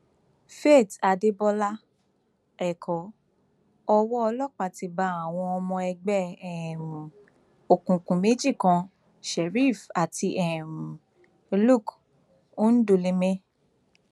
faith adébọlá ẹkọ owó ọlọpàá ti bá àwọn ọmọ ẹgbẹ um òkùnkùn méjì kan sheriff àti um luc ńdùlùmẹ